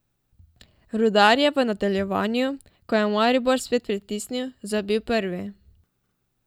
Rudar je v nadaljevanju, ko je Maribor spet pritisnil, zabil prvi.